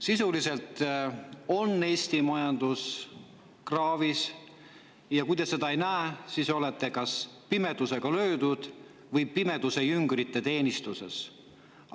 Sisuliselt on Eesti majandus kraavis ja kui te seda ei näe, siis olete kas pimedusega löödud või pimeduse jüngrite teenistuses.